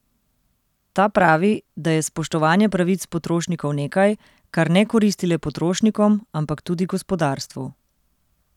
Ta pravi, da je spoštovanje pravic potrošnikov nekaj, kar ne koristi le potrošnikom, ampak tudi gospodarstvu.